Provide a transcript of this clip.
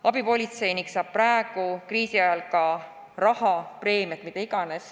Abipolitseinik saab praegu, kriisi ajal ka raha, preemiat, mida iganes.